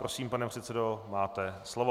Prosím, pane předsedo, máte slovo.